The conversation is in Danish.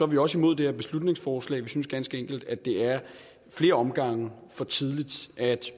vi også imod det her beslutningsforslag vi synes ganske enkelt at det er flere omgange for tidligt at